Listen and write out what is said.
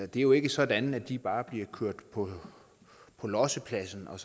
det er jo ikke sådan at de bare bliver kørt på på lossepladsen og